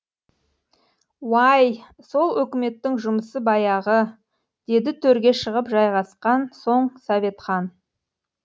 уай сол өкіметтің жұмысы баяғы деді төрге шығып жайғасқан соң советхан